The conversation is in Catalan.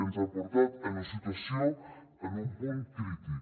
ens han portat a una situació en un punt crític